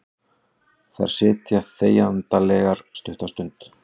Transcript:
Þær sitja þegjandalegar stutta stund.